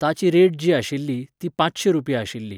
ताची रेट जी आशिल्ली, ती पांचशे रुपया आशिल्ली.